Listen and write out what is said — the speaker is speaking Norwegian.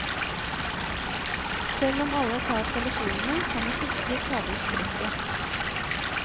Selv om alle tar telefonene kan vi ikke ta bort trøkket.